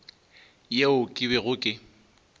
yeo ke bego ke e